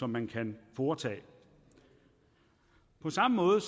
man kan foretage på samme måde